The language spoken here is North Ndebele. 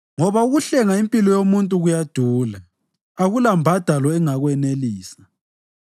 ngoba ukuhlenga impilo yomuntu kuyadula, akulambhadalo engakwenelisa,